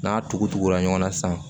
N'a tugu tugula ɲɔgɔn na san